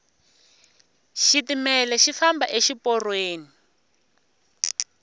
xitimele xi famba exi porweni